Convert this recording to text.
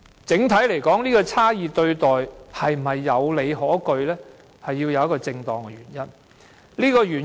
整體來說，這種差異對待是否有理可據，在於有否正當原因。